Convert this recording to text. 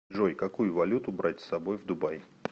джой какую валюту брать с собой в дубай